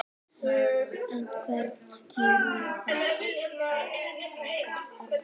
Debóra, einhvern tímann þarf allt að taka enda.